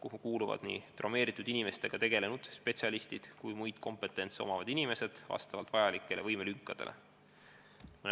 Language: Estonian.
Sinna kuuluvad nii traumeeritud inimestega tegelenud spetsialistid kui ka muud kompetentsed inimesed vastavalt vajadusele.